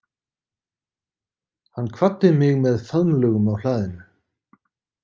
Hann kvaddi mig með faðmlögum á hlaðinu.